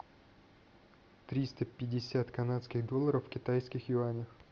триста пятьдесят канадских долларов в китайских юанях